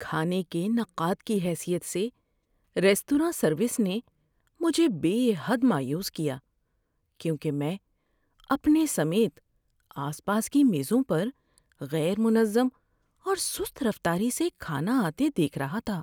‏کھانے کے نقاد کی حیثیت سے، ریستوراں سروس نے مجھے بے حد مایوس کیا کیونکہ میں اپنے سمیت آس پاس کی میزوں پر غیر منظم اور سست رفتاری سے کھانا آتے دیکھ رہا تھا۔